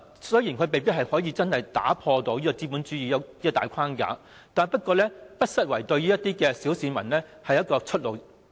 雖然墟市未必可以真正打破資本主資的大框架，但不失為小市民的出路。